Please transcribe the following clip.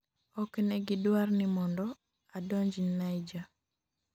ok negi dwar ni mondo adonj Niger